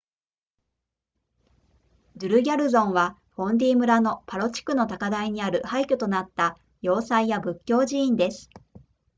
ドゥルギャルゾンはフォンディ村のパロ地区の高台にある廃墟となった要塞や仏教寺院です